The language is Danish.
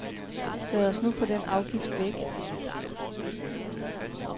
Lad os nu få den afgift væk.